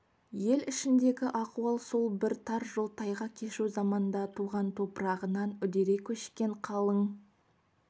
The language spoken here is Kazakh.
ел ішіндегі ахуал сол бір тар жол тайғақ кешу заманда туған топырағынан үдере көшкен қалың